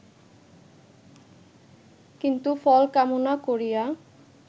কিন্তু ফল কামনা করিয়া